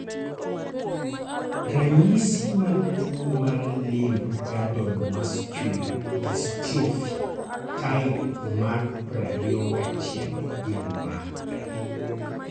Ranyisi mag tuwo mar Limb girdle muscular dystrophy type 2I gin mage?